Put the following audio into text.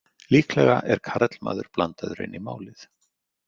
Líklega er karlmaður blandaður inn í málið.